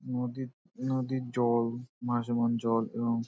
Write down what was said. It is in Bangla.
নদী নদীর জল ভাসমান জল এবং--